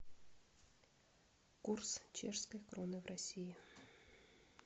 курс чешской кроны в россии